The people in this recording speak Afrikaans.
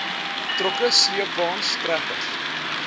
trokke sleepwaens trekkers